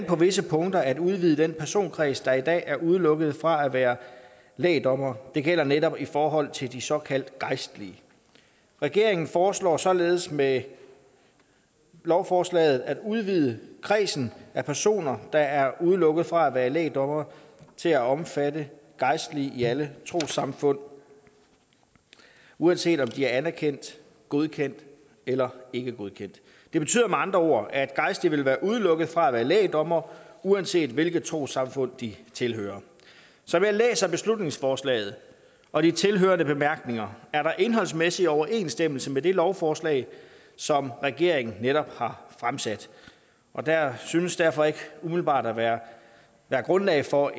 på visse punkter at udvide den personkreds der i dag er udelukket fra at være lægdommere det gælder netop i forhold til de såkaldt gejstlige regeringen foreslår således med lovforslaget at udvide kredsen af personer der er udelukket fra at være lægdommere til at omfatte gejstlige i alle trossamfund uanset om de er anerkendt godkendt eller ikke er godkendt det betyder med andre ord at gejstlige vil være udelukket fra at være lægdommere uanset hvilket trossamfund de tilhører som jeg læser beslutningsforslaget og de tilhørende bemærkninger er der indholdsmæssig overensstemmelse med det lovforslag som regeringen netop har fremsat og der synes derfor ikke umiddelbart at være være grundlag for